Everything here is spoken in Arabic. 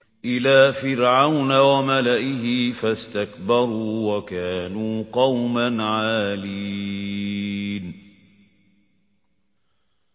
إِلَىٰ فِرْعَوْنَ وَمَلَئِهِ فَاسْتَكْبَرُوا وَكَانُوا قَوْمًا عَالِينَ